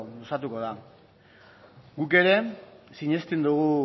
luzatuko da guk ere sinesten dugu